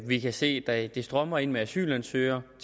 vi kan se at det strømmer ind med asylansøgere